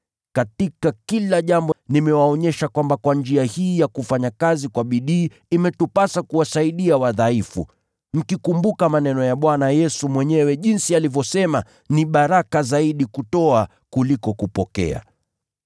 Katika kila jambo nimewaonyesha kwamba kwa njia hii ya kufanya kazi kwa bidii imetupasa kuwasaidia wadhaifu, mkikumbuka maneno ya Bwana Yesu mwenyewe jinsi alivyosema, ‘Ni heri kutoa kuliko kupokea.’ ”